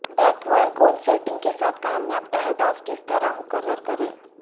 بیکور goal setting کے ساتھ کامیاب اہداف کس طرح مقرر کریں